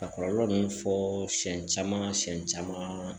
Ka kɔlɔlɔ ninnu fɔ siyɛn caman siyɛn caman